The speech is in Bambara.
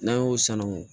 N'an y'o sanangon